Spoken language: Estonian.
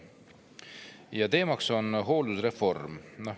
Selle teema on hooldusreform.